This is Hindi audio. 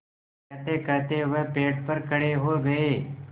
कहतेकहते वह पेड़ पर खड़े हो गए